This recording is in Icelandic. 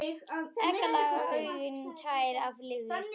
Egglaga augun tær af lygi.